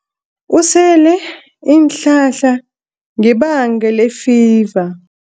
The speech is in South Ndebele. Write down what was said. Usele iinhlahla ngebanga lefiva.